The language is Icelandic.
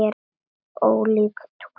Ólík túlkun.